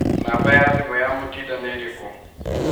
Namba ya thimũ ya mũtinda nĩ ĩrĩkũ?